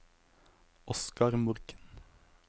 Oscar Morken